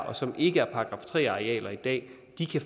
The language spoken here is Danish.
og som ikke er § tre arealer i dag